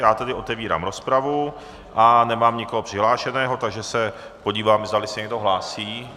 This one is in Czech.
Já tedy otevírám rozpravu a nemám nikoho přihlášeného, takže se podívám, zdali se někdo hlásí.